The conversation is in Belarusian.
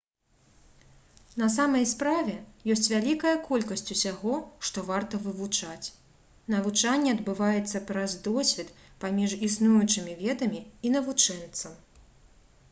на самай справе ёсць вялікая колькасць усяго што варта вывучаць навучанне адбываецца праз досвед паміж існуючымі ведамі і навучэнцам